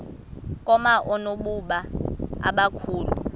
koma oonobumba abakhulu